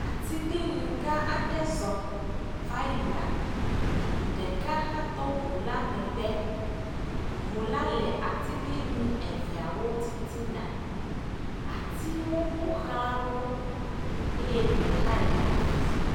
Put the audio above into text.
Atiglinyi gãa aɖe zɔ va yina. Ɖeka hã to ŋula megbe. Ŋula le atiglinyi eveawo titina. Atiwo ƒo ʋlã wo. Eye gbe hã le afi sia.